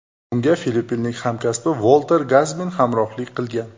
Unga filippinlik hamkasbi Volter Gazmin hamrohlik qilgan.